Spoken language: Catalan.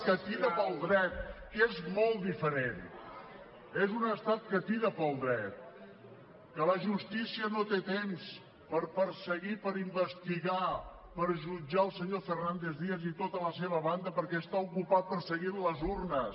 que tira pel dret que és molt diferent és un estat que tira pel dret que la justícia no té temps per perseguir per investigar per jutjar el senyor fernández díaz i tota la seva banda perquè està ocupat perseguint les urnes